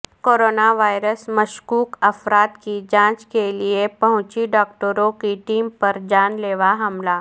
coronavirus مشکوک افراد کی جانچ کے لئے پہنچی ڈاکٹروں کی ٹیم پر جان لیوا حملہ